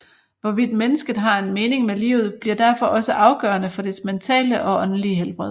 Hvorvidt mennesket har en mening med livet bliver derfor også afgørende for dets mentale og åndelige helbred